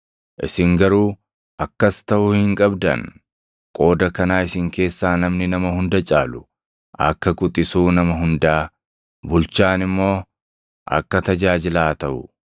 Isin garuu akkas taʼuu hin qabdan. Qooda kanaa isin keessaa namni nama hunda caalu, akka quxisuu nama hundaa, bulchaan immoo akka tajaajilaa haa taʼu.